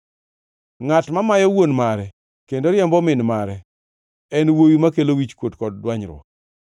Ngʼat mamayo wuon mare kendo riembo min mare en wuowi makelo wichkuot kod dwanyruok.